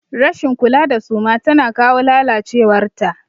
Rashin kula da suma tana kawo lalacewar ta.